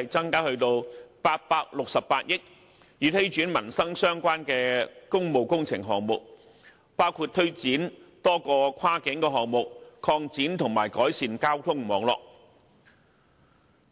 支增加至868億元，以推展與民生相關的工務工程項目，包括推展多個跨境項目，擴展及改善交通網絡。